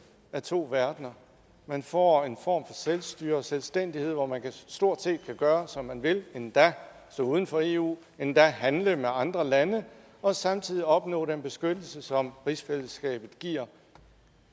af to verdener man får en form selvstyre og selvstændighed hvor man stort set kan gøre som man vil endda stå uden for eu endda handle med andre lande og samtidig opnår man den beskyttelse som rigsfællesskabet giver